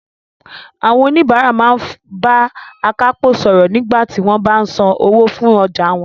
Àwọn oníbàárà máa ń bá akápò sọ̀rọ̀ nígbà tí wọ́n bá san owó fún ọjà wọn